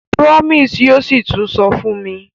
Promise yóò sí tún sọ fún mi.